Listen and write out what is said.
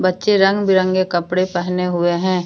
बच्चे रंग बिरंगे कपड़े पहने हुए हैं।